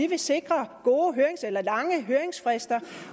vil sikre lange høringsfrister